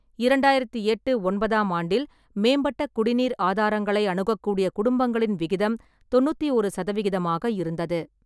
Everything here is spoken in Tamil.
இரண்டாயிரத்தி எட்டு-ஒன்பதாம் ஆண்டில் மேம்பட்ட குடிநீர் ஆதாரங்களை அணுகக்கூடிய குடும்பங்களின் விகிதம் தொன்னூத்தி ஓரு சதவிகிதமாக இருந்தது.